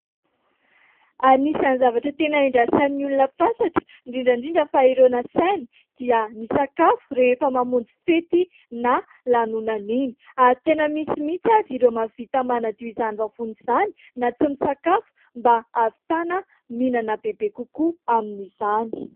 Anisany zavatra tena andrasan'ny olona fatratra, indrindra ndrindra fa ireo nasaina, dia ny sakafo, rehefa mamonjy fety na lanonana iny. Ary tena misy mihitsy azy ireo mahavita manadio izany vavony izany, na tsy misakafo, mba ahavitana mihinana bebe kokoa amin'izany.